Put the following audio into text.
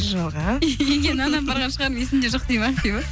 жоға үйге нан апарған шығармын есімде жоқ дейді ме ақбибі